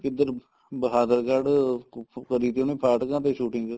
ਕਿੱਧਰ Bahadurgarh kun Fu ਕਰੀ ਤੀ ਉਹਨੇ ਫਾਟਕਾ ਤੇ shooting